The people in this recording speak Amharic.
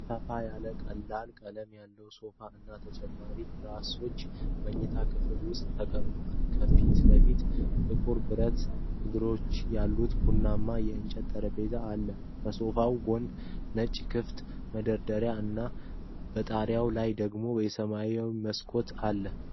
ሰፋ ያለ ቀላል ቀለም ያለው ሶፋ እና ተጨማሪ ትራሶች መኝታ ክፍል ውስጥ ተቀምጠዋል። ከፊት ለፊቱ ጥቁር ብረት እግሮች ያሉት ቡናማ የእንጨት ጠረጴዛ አለ። ከሶፋው ጎን ነጭ ክፍት መደርደሪያዎች እና በጣሪያው ላይ ደግሞ የሰማይ መስኮት አለ።